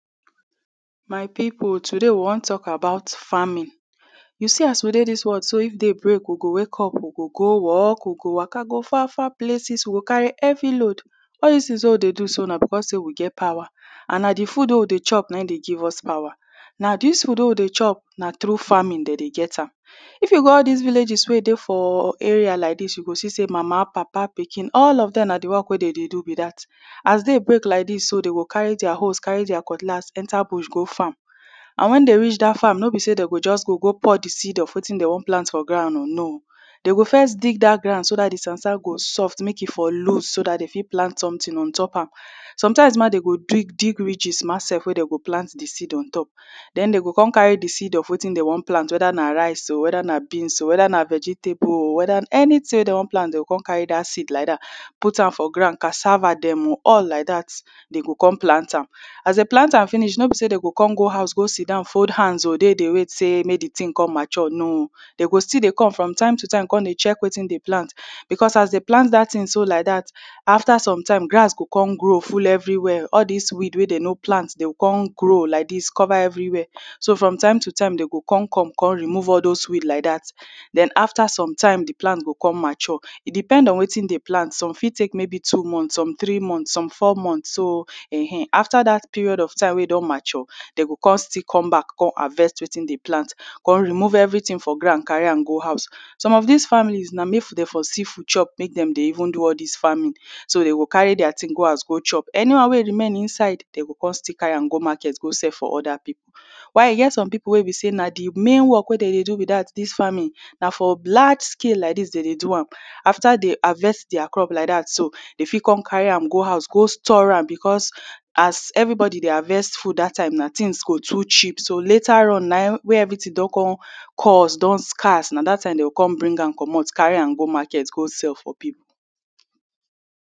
My people today we wam tak about farming you see as we dey dis world so if day break we go go work we go waka go far far places we go carry heavy load all dis tins wey we dey do so na becos say we get power an na de food wey we dey chop na him dey give us power na dis food wey we dey chop na trough farming dem dey get am if you go all dis villages wey dey dey for area like dis you go see say mama papa pikin all of them na de work wey dey dey do be dat as day break like dis so dem dey carry dia hoes dem go carry dia cutlass enter bush go farm an wen dem reach dat farm no be say dem go just go go pour de seed of wetin dem wan plant for ground o no dey go first dig dat ground so dat de sand sand go soft make e for loose so dat dey fit plant sometin ontop am sometimes now dem go dig ridges ma sef wey dem go plant de seed ontop dem dem go come carry de seed of wetin dem wan plant weda na rice or weda na beans oo weda or na vegetable oo weda na anytin wey dem wan plant dem go come carry dat seed like dat put am for ground cassava dem oo all like dat dem go come plant am as dem plant am finish no be say dem go come go house oo go sidown fold hands oo dey dey wait sey make the tin come mature no oo d go still dey come from time to time come dey check wetin dey plant because as dem plant dat thing so like dat o after sometime grass go come grow full everywia all dis weed wey dem no plant go no grow like dis cover everywia so from time to time dem go con come come remove all dose weed like dat den after sometime de plant go come mature e depend on wetin dey plant some fit take maybe two month some three month some four month so eheh after dat period of time wey e don mature dem go come still come back come harvest wetin dem plant come remove everything for ground carry am go house some of dis families na make dem for see food chop make dem dey even do all dis farming so dat dey go carry their thing go house go chop any one wey e remain inside dem go come still carry am go market go sell for other people people while e get some people wey be say na de main work wey dem dey do be dat dis farming na for black skin like dis dem dey do am after dem harvest dia crop like dat so dey fit come carry am go house go store am because as everybody dey harvest food dat time na tins go too cheap so later on where everytin don come cost don scarce na dat time dem go go bring am comot carry am go market go sell for people